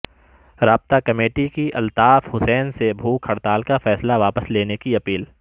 رابطہ کمیٹی کی الطاف حسین سے بھوک ہڑتال کافیصلہ واپس لینےکی اپیل